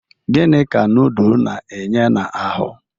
Gini ka nudul na-enye n'ahụ?